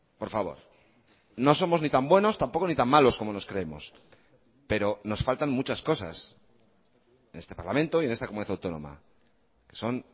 por favor no somos ni tan buenos tampoco ni tan malos como nos creemos pero nos faltan muchas cosas en este parlamento y en esta comunidad autónoma son